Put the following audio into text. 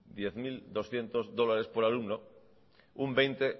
diez mil doscientos dólares por alumno